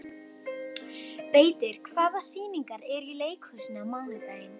Beitir, hvaða sýningar eru í leikhúsinu á mánudaginn?